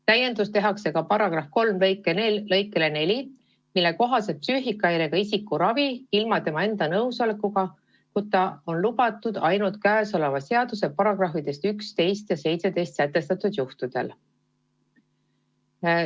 Täiendus tehakse ka § 3 lõikega 4, mille kohaselt psüühikahäirega isiku ravi ilma tema enda nõusolekuta on lubatud ainult kõnealuse seaduse §-des 11 ja 17 sätestatud juhtudel.